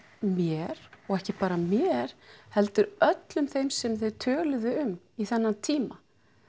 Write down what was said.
mér og ekki bara mér heldur öllum þeim sem þeir töluðu um í þennan tíma